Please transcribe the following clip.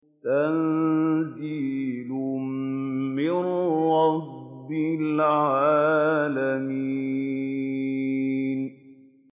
تَنزِيلٌ مِّن رَّبِّ الْعَالَمِينَ